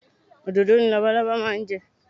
Òdòdó ni labalábá máa ń jẹ